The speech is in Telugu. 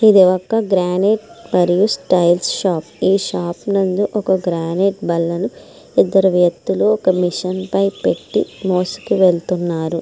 ఇది ఒక గ్రానెట్ మరియు టైల్స్ షాప్ . ఈ షాప్ నందు ఒక గ్రానైట్ బల్లను ఇద్దరు వ్యక్తులు ఒక మిషన్ పైన పెట్టి మోస్తూ వెళుతన్నారు.